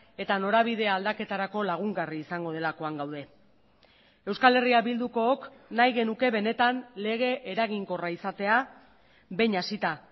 eta norabide aldaketarako lagungarri izango delakoan gaude euskal herria bildukook nahi genuke benetan lege eraginkorra izatea behin hasita